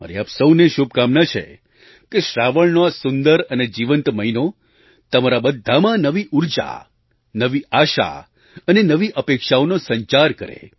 મારી આપ સહુને શુભકામના છે કે શ્રાવણનો આ સુંદર અને જીવંત મહિનો તમારા બધામાં નવી ઊર્જા નવી આશા અને નવી અપેક્ષાઓનો સંચાર કરે